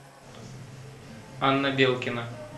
анна белкина